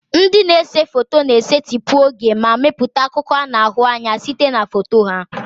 Ndị na-ese foto na-esetịpụ oge ma mepụta akụkọ a na-ahụ anya site na foto ha.